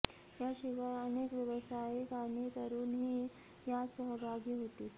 याशिवाय अनेक व्यावसायिक आणि तरुणही यात सहभागी होतील